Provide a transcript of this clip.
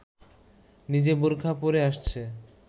নিজে বোরখা পরে আসছে